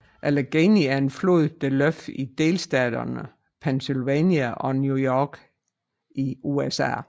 Allegheny er en flod der løber i delstaterne Pennsylvania og New York i USA